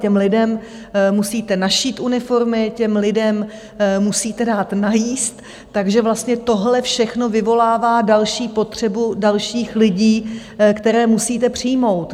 Těm lidem musíte našít uniformy, těm lidem musíte dát najíst, takže vlastně tohle všechno vyvolává další potřebu dalších lidí, které musíte přijmout.